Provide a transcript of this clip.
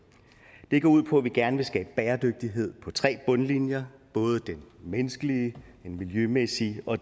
det går ud på at vi gerne vil skabe bæredygtighed på tre bundlinjer det menneskelige det miljømæssige og